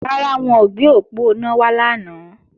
Rárá, wọn ò gbé òponá wá lánàá